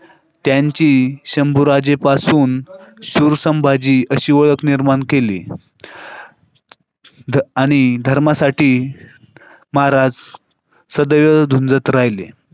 त्यांची शंभूराजेपासून सुरु संभाजी तशी ओळख निर्माण केली. आणि धर्मासाठी महाराज सगळं जात राहिलं.